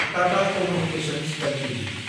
Tata communications Ltd